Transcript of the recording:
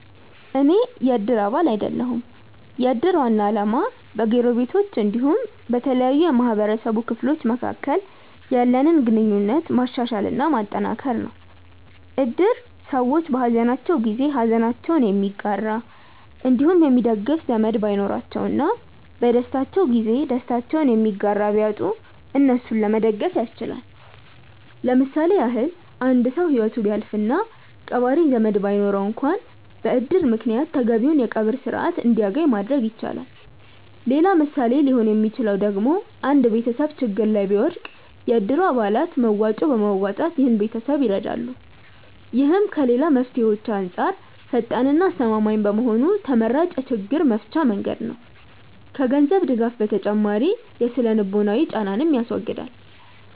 አኔ የ እድር አባል አይደለሁም። የ እድር ዋና አላማ በ ጎረቤቶች አንዲሁም በተለያዩ የ ማህበረሰቡ ክፍሎች መካከል ያለንን ግንኙነት ማሻሻል እና ማጠንከር ነው። እድር ሰዎች በ ሃዘናቸው ጊዜ ሃዘናቸውን የሚጋራ አንዲሁም የሚደግፍ ዘመድ ባይኖራቸው እና በ ደስታቸው ጊዜ ደስታቸውን የሚጋራ ቢያጡ እነሱን ለመደገፍ ያስችላል። ለምሳሌ ያክል አንድ ሰው ሂወቱ ቢያልፍ እና ቀባሪ ዘመድ ባይኖረው አንክዋን በ እድር ምክንያት ተገቢውን የ ቀብር ስርዓት አንድያገኝ ማድረግ ይቻላል። ሌላ ምሳሌ ሊሆን ሚችለው ደግሞ አንድ ቤተሰብ ችግር ላይ ቢወድቅ የ እድሩ አባላት መዋጮ በማዋጣት ይህን ቤተሰብ ይረዳሉ። ይህም ከ ሌላ መፍትሄዎች አንጻር ፈጣን እና አስተማማኝ በመሆኑ ተመራጭ የ ችግር መፍቻ መንገድ ነው። ከ ገንዘብ ድጋፍ ተጨማሪ የ ስነ-ልቦናዊ ጫናንንም ያስወግዳል።